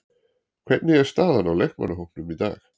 Hvernig er staðan á leikmannahópnum í dag?